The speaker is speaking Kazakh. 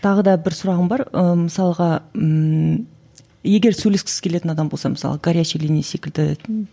тағы да бір сұрағым бар ы мысалға ммм егер сөйлескісі келетін адам болса мысалы горячий линия секілді